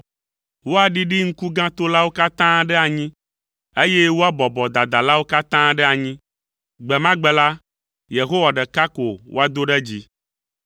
Woaɖiɖi ŋkugãtolawo katã ɖe anyi, eye woabɔbɔ dadalawo katã ɖe anyi. Gbe ma gbe la, Yehowa ɖeka ko woado ɖe dzi.